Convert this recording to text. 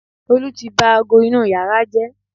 olu ti ba ago inú yàrá jẹ́